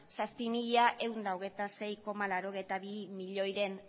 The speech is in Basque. zazpi mila ehun eta hogeita sei koma laurogeita bi milioiren